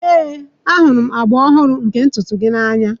Ee, ahụrụ m agba ọhụrụ nke ntutu gị n'anya